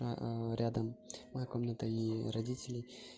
рядом моя комната и родителей